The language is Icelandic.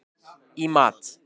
í mat.